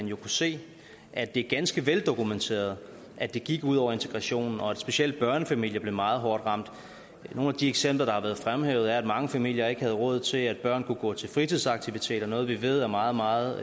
jo kunne se at det er ganske veldokumenteret at det gik ud over integrationen og at specielt børnefamilier blev meget hårdt ramt nogle af de eksempler der har været fremhævet er at mange familier ikke havde råd til at børnene kunne gå til fritidsaktiviteter noget som vi ved er meget meget